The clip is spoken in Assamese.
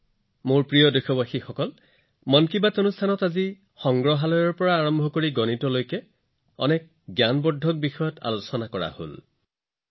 মোৰ মৰমৰ দেশবাসীসকল মন কী বাতত আজি সংগ্ৰহালয়ৰ পৰা গণিতলৈকে বহুতো জ্ঞানবৰ্ধক বিষয় আলোচনা কৰিলো